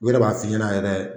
U yɛrɛ b'a f'i Ɲɛnɛ yɛrɛ